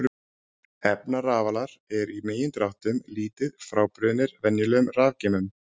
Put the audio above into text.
Efnarafalar eru í megindráttum lítið frábrugðnir venjulegum rafgeymum.